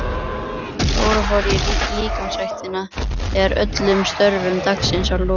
Dóra fór í líkamsræktina þegar öllum störfum dagsins var lokið.